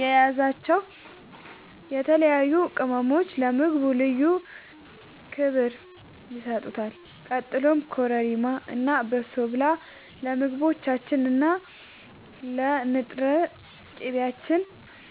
የያዛቸው የተለያዩ ቅመሞች ለምግቡ ልዩ ክብር ይሰጡታል። ቀጥሎም ኮረሪማ እና በሶብላ ለምግቦቻችን እና ለንጥር ቅቤያችን